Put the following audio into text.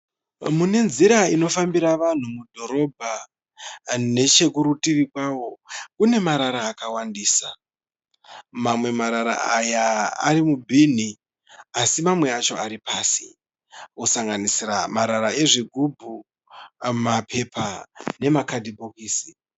Mune nzira inofambira vanhu mudhorobha. Nechekurutivi kwawo kune marara akawandisa. Mamwe marara aya arimubhini asi mamwe acho aripasi. Kusanganisira marara ezvigubhu, mapepa nemakadhibhokisi.